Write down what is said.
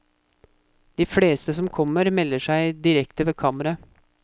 De fleste som kommer, melder seg direkte ved kammeret.